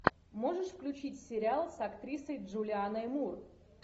можешь включить сериал с актрисой джулианной мур